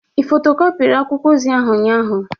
Ị fotokopiri akwụkwọ ozi ahụ ụnyaahụ?